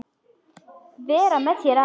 Vera með þér aðeins.